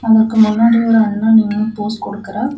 அதற்கு மன்னாடி ஒரு அண்ணா நின்னு போஸ் கொடுக்கறார்.